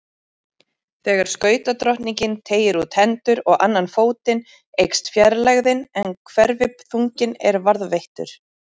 Þegar skautadrottningin teygir út hendur og annan fótinn eykst fjarlægðin en hverfiþunginn er varðveittur.